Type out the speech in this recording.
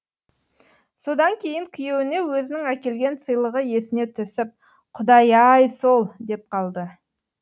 содан кейін күйеуіне өзінің әкелген сыйлығы есіне түсіп құдай ай сол деп қалды